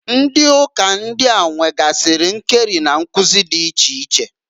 Ndị uka ndịa nwegasịrị nkeri na nkụzị dị iche iche.